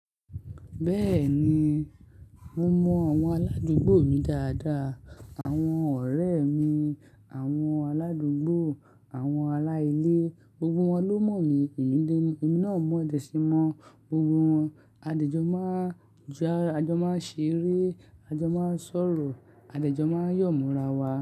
Bẹ́ẹ̀ni, mo mọ àwọn aládúgbò mi dáadáa. Àwọn ọ̀rẹ́ mi, àwọn aládúgbò, àwọn ará ilé, gbogbo wọn ló mọ̀ mí. Èmi náà mọ̀ dẹ̀ síi mọ́ gbogbo wọn. A jọ máa ń já, a jọ máa ń ṣeré, a jọ máa ń sọ̀rọ̀, a de jọ máa ń yọ̀ mo ra wa.